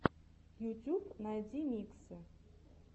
ютюб найди миксы